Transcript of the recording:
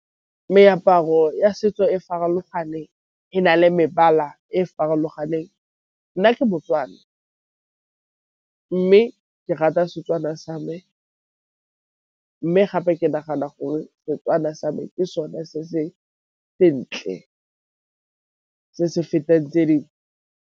Meaparo ya setso e farologane e na le mebala e farologaneng. Nna ke Botswana mme ke rata Setswana sa me mme gape ke nagana gore Setswana sa me ke so ne se sentle se se fetang tse .